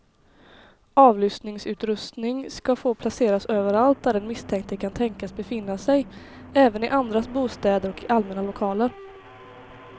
Avlyssningsutrustning ska få placeras överallt där den misstänkte kan tänkas befinna sig, även i andras bostäder och i allmänna lokaler.